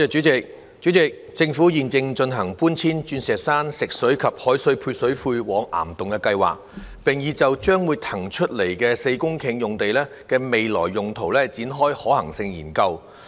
主席，政府現正進行搬遷鑽石山食水及海水配水庫往岩洞的計劃，並已就將會騰空出來的4公頃用地的未來用途展開可行性研究。